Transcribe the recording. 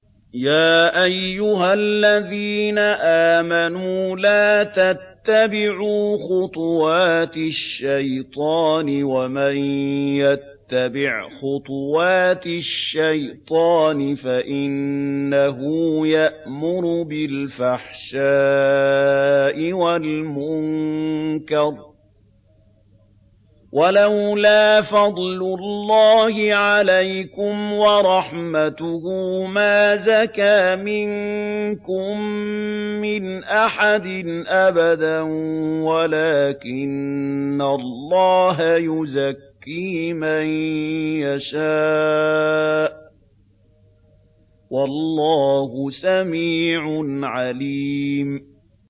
۞ يَا أَيُّهَا الَّذِينَ آمَنُوا لَا تَتَّبِعُوا خُطُوَاتِ الشَّيْطَانِ ۚ وَمَن يَتَّبِعْ خُطُوَاتِ الشَّيْطَانِ فَإِنَّهُ يَأْمُرُ بِالْفَحْشَاءِ وَالْمُنكَرِ ۚ وَلَوْلَا فَضْلُ اللَّهِ عَلَيْكُمْ وَرَحْمَتُهُ مَا زَكَىٰ مِنكُم مِّنْ أَحَدٍ أَبَدًا وَلَٰكِنَّ اللَّهَ يُزَكِّي مَن يَشَاءُ ۗ وَاللَّهُ سَمِيعٌ عَلِيمٌ